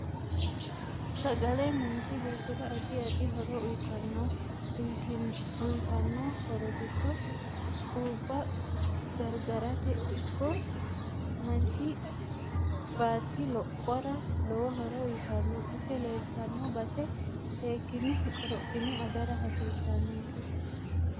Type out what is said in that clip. Sagle manchi beetera addi addi horo uyiitanote uyiotano horo giddo xubba gargarate ikko manchi batti lophora lowo horo uyiitanno ise leeltanno base seekine korophine agara hasiisanonke